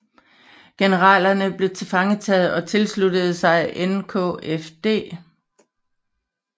Generalerne blev tilfangetaget og tilsluttede sig NKFD